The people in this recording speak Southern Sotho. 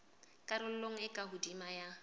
karolong e ka hodimo ya